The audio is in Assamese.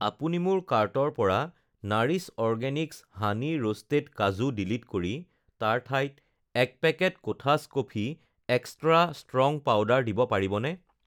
আপুনি মোৰ কাৰ্টৰ পৰা নাৰিছ অৰ্গেনিকছ হানি ৰোষ্টেড কাজু ডিলিট কৰি তাৰ ঠাইত ১ packet Kothas coffee extra strong powder দিব পাৰিবনে?